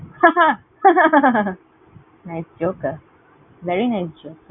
nice joke । Very nice joke ।